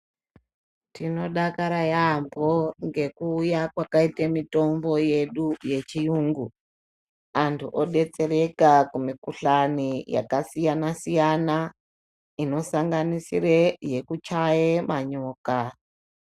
Tinodakara yaambo ngekuuya kwakaite mitombo yedu yechiyungu. Antu obetsereka kumikuhlani yakasiyana-siyana, inosanganisire yekuchaye manyoka.